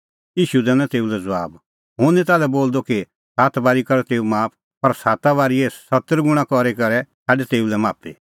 ईशू दैनअ तेऊ लै ज़बाब हुंह निं ताल्है बोलदअ कि सात बारी कर तेऊ माफ पर साता बारीए सत्तर गुणा करी करै छ़ाडै तेऊ लै माफी